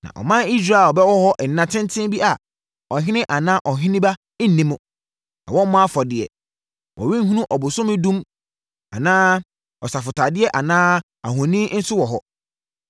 Na ɔman Israel bɛwɔ hɔ nna tenten bi a ɔhene anaa ɔheneba nni mu, na wɔmmɔ afɔdeɛ. Wɔrenhunu ɔbosom dum anaa asɔfotadeɛ anaa ahoni nso wɔ hɔ.